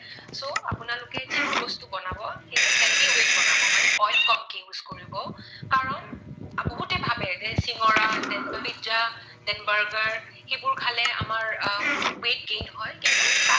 So আপোনালোকে যিবোৰ বস্তু বনাব সেইবোৰ healthy way ত বনাব মানে oil কমকৈ use কৰিব। কাৰণে বহুতে ভাবে যে চিঙৰা then pizza then burger সেইবোৰ খালে আমাৰ আ weight gain হয়